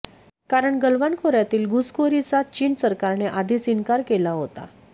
कारण गलवान खोऱयातील घुसखोरीचा चीन सरकारने आधीच इन्कार केला होता